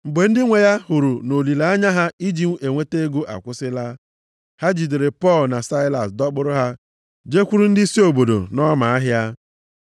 Mgbe ndị nwe ya hụrụ nʼolileanya ha iji inweta ego akwụsịla, ha jidere Pọl na Saịlas dọkpụrụ ha jekwuru ndịisi obodo nʼọma ahịa.